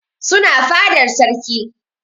Suna fadar sarki